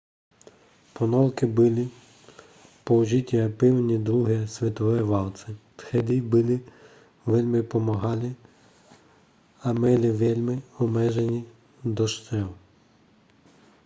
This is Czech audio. ponorky byly použity v první a druhé světové válce tehdy byly velmi pomalé a měly velmi omezený dostřel